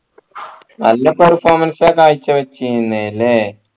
നല്ല performance ആ കാഴ്ച വെച്ചിരുന്നെ ല്ലേ